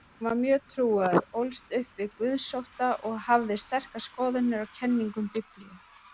Hann var mjög trúaður, ólst upp við guðsótta og hafði sterkar skoðanir á kenningum Biblíunnar.